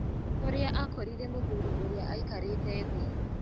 Kũrĩa akorire mũthuri ũrĩa aikarĩte thĩ.